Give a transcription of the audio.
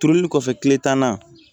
Turuli kɔfɛ kile tan na